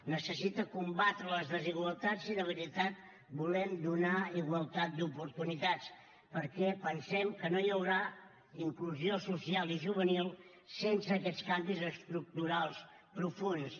necessita combatre les desigualtats i de veritat volem donar igualtat d’oportunitats perquè pensem que no hi haurà inclusió social i juvenil sense aquests canvis estructurals profunds